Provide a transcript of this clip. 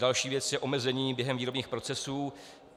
Další věc je omezení během výrobních procesů.